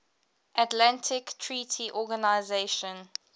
atlantic treaty organisation